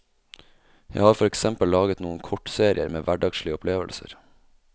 Jeg har for eksempel laget noen kortserier med hverdagslige opplevelser.